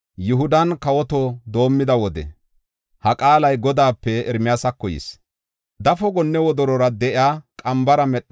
“Dafo gonne wodorora de7iya qambara medhada ne gannan wotha.